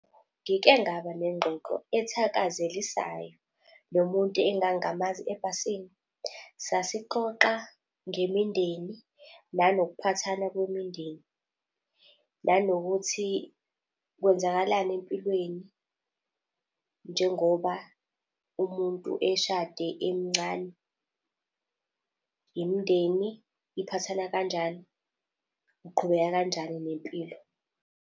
Ngike ngaba nengxoxo ethakazelisayo nomuntu engangingamazi ebhasini. Sasixoxa ngemindeni, nanokuphathana kwemindeni nanokuthi kwenzakalani empilweni njengoba umuntu eshade emncane. Imindeni iphathana kanjani, uqhubeka kanjani nempilo.